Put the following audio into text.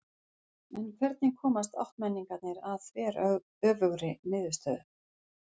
En hvernig komast áttmenningarnir að þveröfugri niðurstöðu?